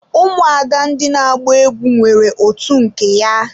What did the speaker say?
Ụmụada ndị na agba egwu nwere otu nke ya.